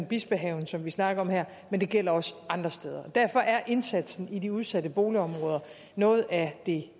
bispehaven som vi snakker om her men det gælder også andre steder derfor er indsatsen i de udsatte boligområder noget af det